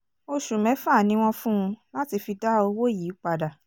oṣù mẹ́fà ni wọ́n fún un láti fi dá owó yìí padà